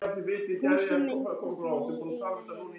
Húsin mynda því eina heild.